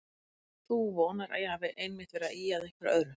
Þú vonar að ég hafi einmitt verið að ýja að einhverju öðru.